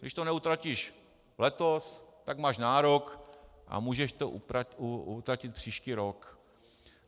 Když to neutratíš letos, tak máš nárok a můžeš to utratit příští rok.